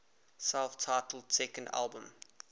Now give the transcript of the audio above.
self titled second album